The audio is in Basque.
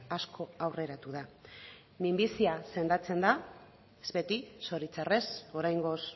asko aurreratu da minbizia sendatzen da ez beti zoritzarrez oraingoz